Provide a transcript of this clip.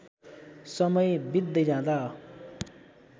समय वित्दै जाँदा